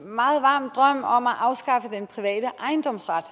meget varm drøm om at afskaffe den private ejendomsret